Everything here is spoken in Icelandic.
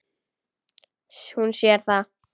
Hún sér það.